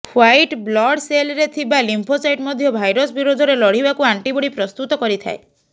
white blood ସେଲ୍ସରେ ଥିବା lymphocyte ମଧ୍ୟ ଭାଇରସ୍ ବିରୋଧରେ ଲଢ଼ିବାକୁ ଆଣ୍ଟିବଡ଼ି ପ୍ରସ୍ତୁତ କରିଥାଏ